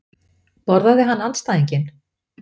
Borðaði hann andstæðinginn?